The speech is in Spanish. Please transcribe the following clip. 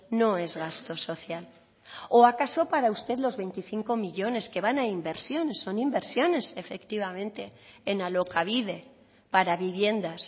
no es gasto social o acaso para usted los veinticinco millónes que van a inversión son inversiones efectivamente en alokabide para viviendas